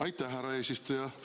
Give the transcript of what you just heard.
Aitäh, härra eesistuja!